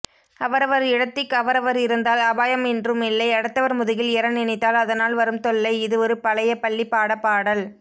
அவரவர் இடத்திக் அவரவர் இருந்தால் அபாயம் இன்ருமில்லை அடுத்தவர் முதுகில் எற நினைத்தால் அதனால் வரும்தொல்லை இதுஒரு பழையபள்ளிப்பாடப்பாடல்